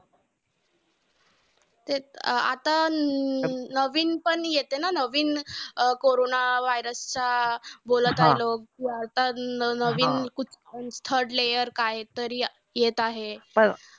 ते आता नवीन पण येतंय ना नवीन अं कोरोना व्हायरस वाढत बोलताय लोकं. आता नवीन third layer काहीतरी येत आहे.